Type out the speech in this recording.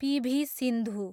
PV. Sindhu